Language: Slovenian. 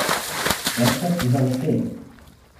Desert za vse!